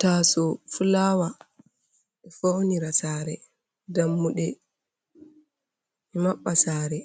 Taso fulawa ɗo faunira sare, dammuɗe ɗo mabba sare.